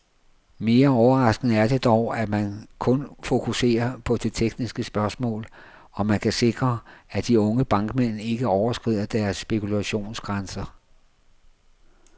Mere overraskende er det dog, at man kun fokuserer på det tekniske spørgsmål, om man kan sikre, at de unge bankmænd ikke overskrider deres spekulationsgrænser.